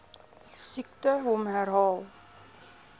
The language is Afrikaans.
siekte hom herhaal